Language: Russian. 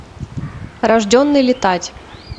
рожденный летать